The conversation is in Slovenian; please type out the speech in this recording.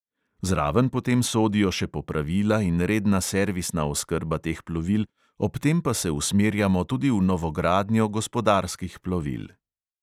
Zraven potem sodijo še popravila in redna servisna oskrba teh plovil, ob tem pa se usmerjamo tudi v novogradnjo gospodarskih plovil.